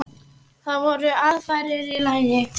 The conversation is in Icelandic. Það voru aðfarir í lagi!